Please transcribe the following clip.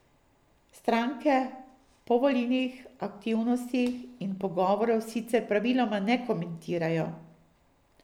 Stranke povolilnih aktivnosti in pogovorov sicer praviloma ne komentirajo.